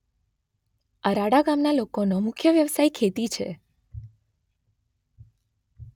અરાળા ગામના લોકોનો મુખ્ય વ્યવસાય ખેતી છે.